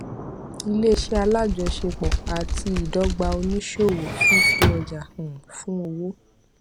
ilé iṣẹ alájọṣepọ àti ìdọgba oníṣòwò fífi ọjà um fún owó